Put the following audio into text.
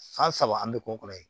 San saba an bɛ k'o kɔrɔ ye